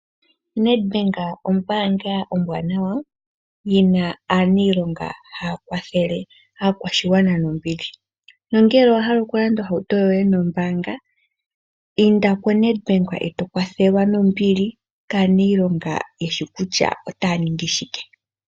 NedBank ombaanga ombwanawa yina aaniilonga haya kwathele aakwashigwana nombili. Nongele owa hala okulanda ohauto yoye nombaanga inda koNedBank eto kwathelwa nombili kaaniilonga yeshi kutya otaya ningi shike.